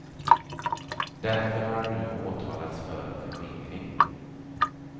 Därför har han nu åtalats för förskingring.